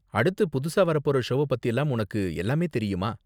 அடுத்து புதுசா வரப்போற ஷோவ பத்திலாம் உனக்கு எல்லாமே தெரியுமா?